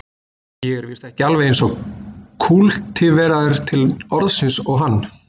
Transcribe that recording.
Ég er víst ekki alveg eins kúltiveraður til orðsins og hann